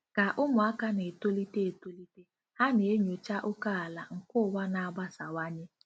Ka ụmụaka na-etolite etolite, ha na-enyocha ókèala nke ụwa na-agbasawanye.